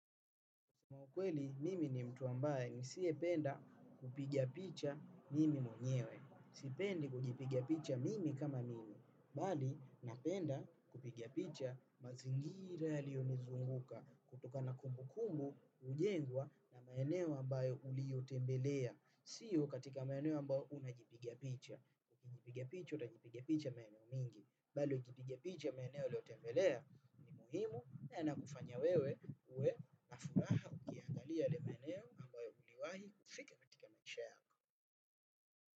Kwa kweli, mimi ni mtu ambaye nisiyependa kupiga picha mimi mwenyewe. Sipendi kujipiga picha mimi kama mimi. Bali, napenda kupiga picha mazingira yaliyonizunguka. Kutokana na kumbukumbu, hujengwa na maeneo ambayo uliyotembelea. Sio katika maeneo ambayo unajipiga picha. Kujipiga picha, utajipiga picha maeneo mengi. Bali, ukipiga picha maeneo uliyotembelea. Muhimu, na yanakufanya wewe, uwe na furaha. Pia angalia ile maeneo ambayo uliwahi fika katika maisha.